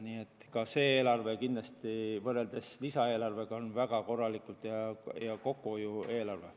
Nii et ka see eelarve kindlasti, võrreldes lisaeelarvega, on väga korralik ja kokkuhoiu eelarve.